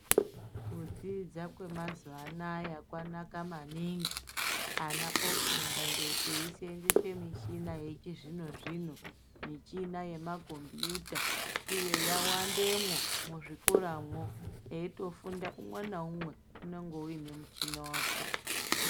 Kudzidza kwe mazuva anaya kwanaka maningi ana ofunda eyi senzese michina yechi zvino zvino michina yema kombiyuta uye ya wandemwo mu zvikora mwo eyito funda umwe na umwe unonga une muchina wake.